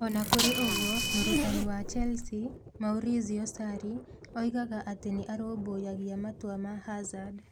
O na kũrĩ ũguo, mũrutani wa Chelsea, Maurizio Sarri, oigaga atĩ nĩ arũmbũyagia matua ma Hazard.